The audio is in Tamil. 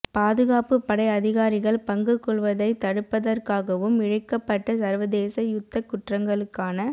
பாதுகாப்பு படை அதிகாரிகள் பங்கு கொள்வதைத் தடுப்பதற்காகவும் இழைக்கப்பட்ட சர்வதேச யுத்தக் குற்றங்களுக்கான